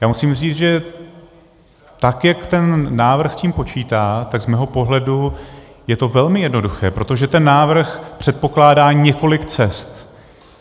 Já musím říct, že tak, jak ten návrh s tím počítá, tak z mého pohledu je to velmi jednoduché, protože ten návrh předpokládá několik cest.